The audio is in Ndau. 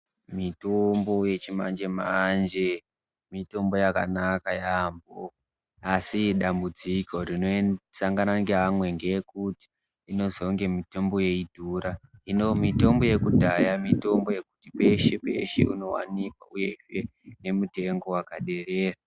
Mitombo yechimanjemanje, mitombo yakanaka yaambo asi dambudziko rinosangana ngeamwe ngeyekuti inozonge mitombo yeidhura . Hino mitombo yekudhaya mitombo yekuti peshe peshe unowanikwa uyezve nemutengo wakaderera .